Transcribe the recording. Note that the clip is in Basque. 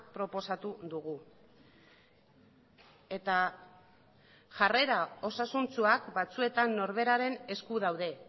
proposatu dugu eta jarrera osasuntsuak batzuetan norberaren esku daude